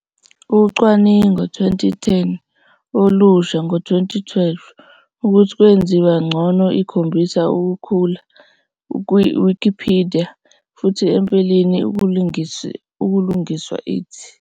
Ucwaningo 2010, olusha ngo 2012, ukuthi kwenziwa ngcono ikhombisa ukukhula Wikipedia futhi empeleni ukulungiswa it.